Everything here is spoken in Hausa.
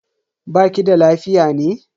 Baki da lafiya ne?